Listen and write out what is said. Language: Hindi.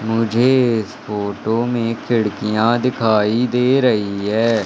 मुझे इस फोटो में खिड़कियां दिखाई दे रही हैं।